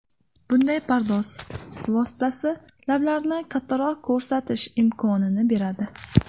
Bunday pardoz vositasi lablarni kattaroq ko‘rsatish imkonini beradi.